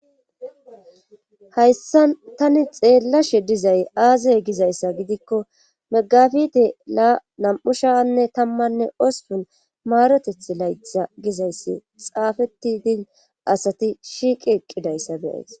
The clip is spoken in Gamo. Hayssan tani xeellashe dizay aazay gizayssa gidikko megafide la nam'u shaanne tammanne osupun maaroteth laytha gizayssi xaafetidin asati shiiqi eqqidayssa beyees.